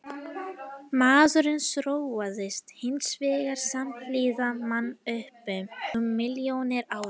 Maðurinn þróaðist hins vegar samhliða mannöpum um milljónir ára.